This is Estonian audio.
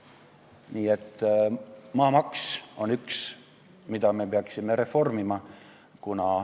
Nii et maamaks on üks asi, mida me peaksime reformima.